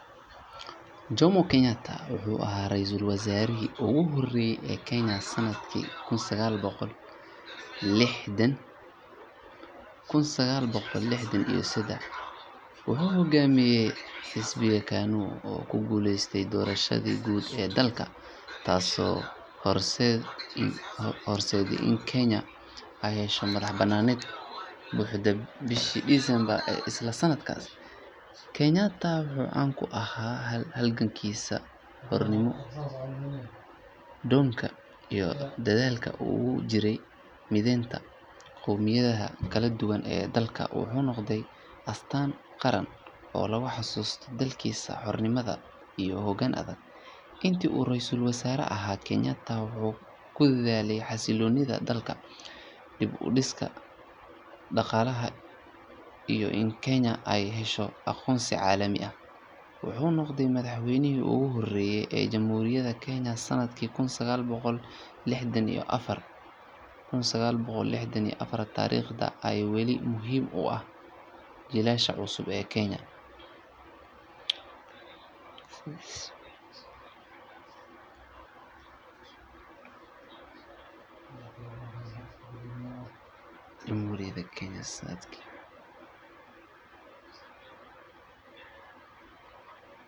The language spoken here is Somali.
Jomo Kenyatta wuxuu ahaa raysal wasaarihii ugu horreeyay ee Kenya sanadkii kun sagaal boqol lixdan iyo seddex. Wuxuu hoggaaminayay xisbiga KANU oo ku guuleystay doorashadii guud ee dalka, taasoo horseeday in Kenya ay hesho madax-bannaani buuxda bishii December ee isla sanadkaas. Kenyatta wuxuu caan ku ahaa halgankiisa xornimo doonka iyo dadaalkii uu ugu jiray mideynta qowmiyadaha kala duwan ee dalka. Wuxuu noqday astaan qaran oo lagu xasuusto dadaalkii xornimada iyo hoggaan adag. Intii uu raysal wasaare ahaa, Kenyatta wuxuu ku dadaalay xasilloonida dalka, dib u dhiska dhaqaalaha iyo in Kenya ay hesho aqoonsi caalami ah. Wuxuu noqday madaxweynihii ugu horreeyay ee Jamhuuriyadda Kenya sanadkii kun sagaal boqol lixdan iyo afar. Taariikhdiisa ayaa weli muhiim u ah jiilasha cusub ee Kenya.